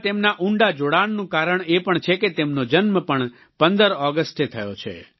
ભારત સાથેના તેમના ઉંડા જોડાણનું કારણ એ પણ છે કે તેમનો જન્મ પણ 15 ઓગસ્ટે થયો છે